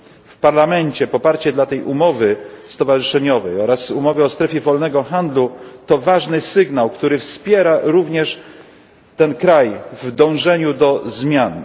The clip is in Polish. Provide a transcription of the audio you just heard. W Parlamencie poparcie dla tej umowy stowarzyszeniowej oraz umowy o strefie wolnego handlu to ważny sygnał, który wspiera również ten kraj w dążeniu do zmian.